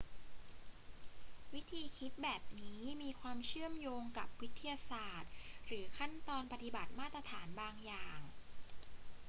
วิธีคิดแบบนี้มีความเชื่อมโยงกับวิทยาศาสตร์หรือขั้นตอนปฏิบัติมาตรฐานบางอย่าง